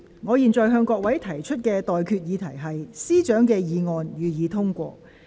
我現在向各位提出的待決議題是：政務司司長動議的議案，予以通過。